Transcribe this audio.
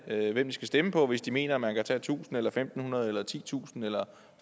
hvem de skal stemme på hvis de mener man kan tage tusind eller fem hundrede eller titusind eller